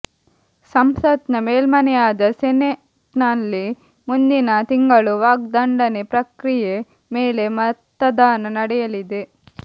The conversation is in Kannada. ಸಂಸತ್ತ್ನ ಮೇಲ್ಮನೆಯಾದ ಸೆನೆಟ್ನಲ್ಲಿ ಮುಂದಿನ ತಿಂಗಳು ವಾಗ್ದಂಡನೆ ಪ್ರಕ್ರಿಯೆ ಮೇಲೆ ಮತದಾನ ನಡೆ ಯಲಿ ದೆ